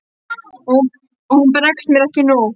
Og hún bregst mér ekki nú.